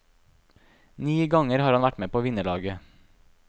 Ni ganger har han vært med på vinnerlaget.